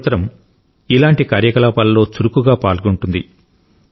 మన యువ తరం ఇలాంటి కార్యకలాపాల్లో చాలా చురుకుగా ఉంటుంది